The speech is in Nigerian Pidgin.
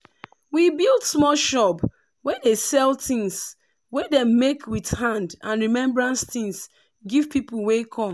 we build small shop wey dey sell tins wey dem make with hand and remembrance tins give people wey come